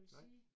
Nej